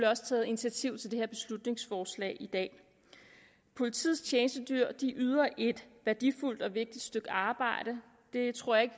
også taget initiativ til det her beslutningsforslag i dag politiets tjenestedyr yder et værdifuldt og vigtigt stykke arbejde det tror jeg